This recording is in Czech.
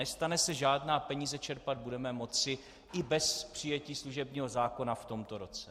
Nestane se žádná, peníze čerpat budeme moci i bez přijetí služebního zákona v tomto roce.